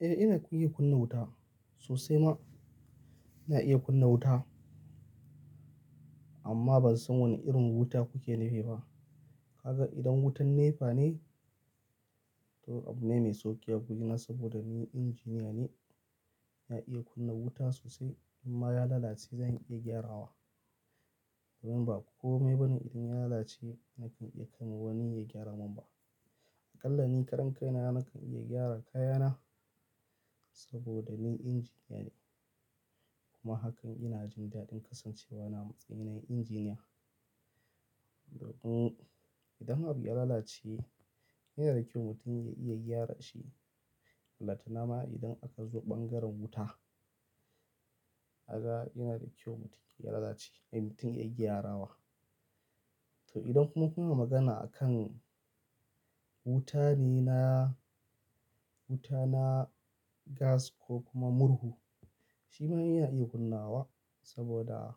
Eh ina kuye kunna wuta sosai ma ina iya kunna wuta amma ban san wane irin wuta kuke nufi ba. Kaga idan wutan NEPA ne to abune mai sauƙi a gurina saboda ni injiniya ne, na iya kunna wuta sosai in ma ya lalace zan iya gyarawa. Domin ba kome bane idan ya lalace nakan iya kai wa wani ya gyara min ba. Aƙalla ni karan kai na nakan iya gyara kayana saboda ni injiniya ne kuma hakan ina jin daɗin kasancewa na mutum mai injiniya. Idan abu ya lalace yana da kyau mutum ya iya gyara shi. Balantana nama idan aka zo bangaren wuta, a ga yana da kyau mutum ya lalace ai mutum ya iya gyarawa. To idan kuma kuna magana akan wuta ne na wuta, na gas ko kuma murhu shi ma ina iya kunna wa saboda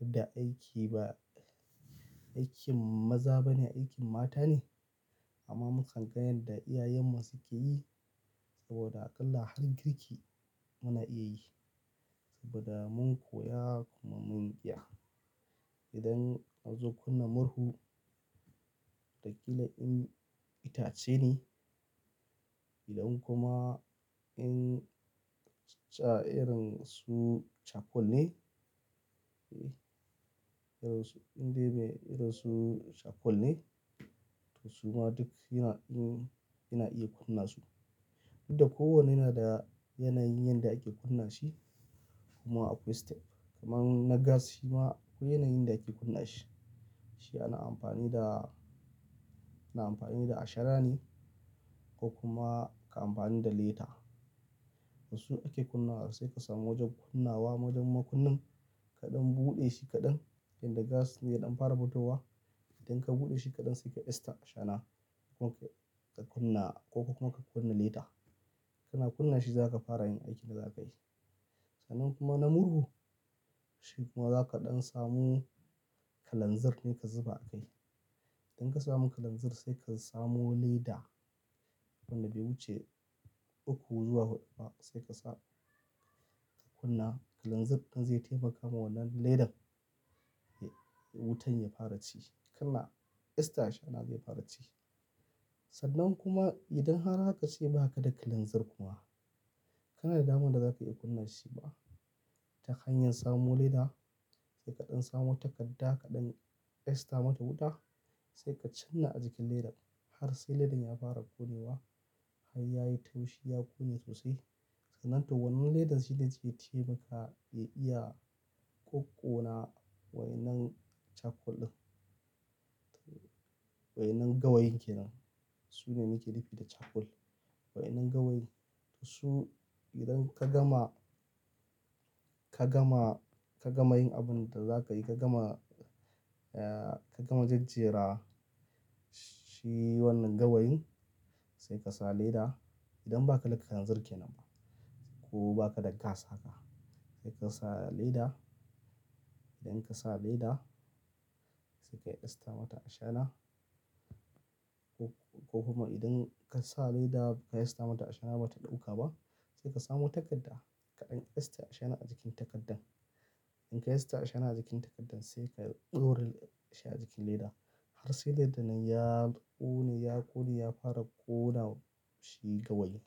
yadda aiki ba aikin maza bane aikin mata ne amma mun san kan ga yanda da iyayenmu suke yi saboda aƙalla har girki muna iya yi saboda mun koya kuma mun iya. Idan an zo kunna murhu, watakila in itace ne idan kuma in tsatsa irin su charcoal ne, indai me irinsu charcoal ne to su ma duk yana in ina iya kunna su. Duk da kowanne yana da yanayin yanda ake kunna shi kuma akwai step. Kaman na gas shi ma akwai yanayin da ake kunna shi. Shi ana amfani da, ana amfani da ashana ne ko kuma ka amfani da leta. Wasu ake kunna wa sai ka samu wajen kunna wa, wajen makunnin kaɗan buɗe shi kaɗan. Inda gas ne ya ɗan fara fitowa idan ka buɗe shi kaɗan sai ka esta ashana kuma ka kunna ko kuma ka kunna leta. Kana kunna shi zaka fara yin aikin da zakayi. Sannan kuma na murhu shi kuma za ka ɗan samu kalanzir ne ka zuba a kai. Idan ka samu kalanzir sai ka samo leda wanda bai wuce uku zuwa huɗu ba sai ka sa ka kunna kalanzir ɗin zai taimaka ma wannan ledan wutan ya fara ci. Kana esta ashana zai fara ci. Sannan kuma idan har haka sai ba ka da kalanzir kuma kana da damar da za ka iya kunna shi ba, ta hanyar samo leda sai kaɗan samu takadda kaɗan esta mata wuta sai ka canna a jikin ledan har sai ledan ya fara ƙone wa har ya yi taushi ya ƙone sosai. Sannan to wannan ledan shine wanda zai taimaka ya iya ƙoƙkona wayannan charcoal ɗin. Wayannan gawayin kenan su ne nake nufi da charcoal. Wayannan gawayin su idan ka gama, ka gama, ka gama yin abun da za ka yi ka gama, ka gama jajjera shi wannan gawayin sai ka sa leda. Idan ba ka da kalanzir kenan ba ko ba ka da gas haka sai ka sa leda. Idan ka sa leda sai ka esta mata ashana ko kuma idan ka sa leda ka esta mata ashana bata ɗauka ba sai ka samo takadda kaɗan esta ashana a jikin takaddan. In ka esta ashana a jikin takaddan sai ka ɗora shi a jikin leda har sai ledan nan ya ƙone, ya ƙone ya fara ƙona shi gawayin.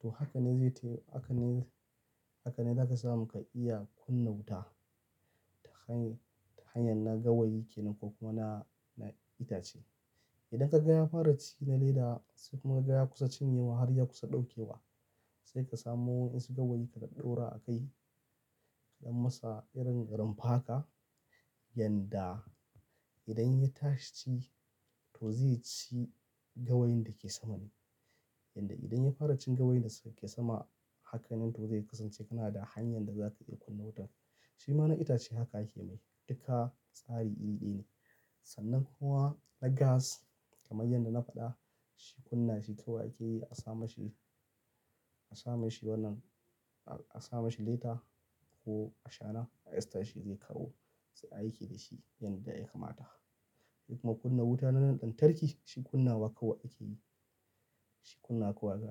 To haka ne zai tayi haka ne, haka ne zaka samu ka iya kunna wuta ta hanyar na gawayi kenan ko kuma na, na itace. Idan ka ga ya fara ci na leda sai kuma ka ga ya kusa cinye wa har ya kusa ɗaukewa sai ka samo wani wayansu gawayin ka ɗaddora a kai don masa irin rumfa haka yanda idan ya tashi ci to zai ci gawayin da ke sama ne. Yanda idan ya fara cin gawayin da suke sama hakan ne to zai kasance kana da hanyar da za ka iya kunna wutar. Shi ma na itace haka ake mai duka tsari iri ɗaya ne. Sannan kuwa na gas kamar yadda na faɗa shi kunna shi kawai ake yi a sa mashi, a sa mashi wannan, a sa mashi lita ko ashana a esta shi zai kawo sai a yi aiki da shi yanda ya kamata. Kuma kunna wuta na nan ɗan tarki shi kunna wa kawai ake yi. Shi kunna kawai za a.